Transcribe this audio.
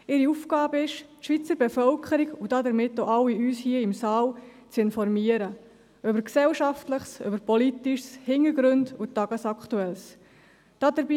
Ihre Aufgabe besteht darin, die Schweizer Bevölkerung, und damit auch uns alle in diesem Saal, über Gesellschaftliches und Politisches, über Hintergründe und über Tagesaktuelles zu informieren.